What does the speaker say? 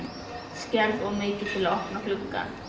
Skelf of mikið til að opna gluggann.